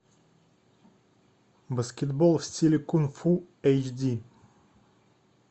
баскетбол в стиле кунг фу эйч ди